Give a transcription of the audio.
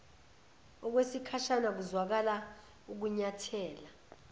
okwesikhashana kuzwakala ukunyathela